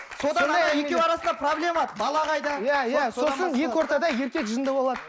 содан екеуі арасында проблема бала қайда сосын екі ортада еркек жынды болады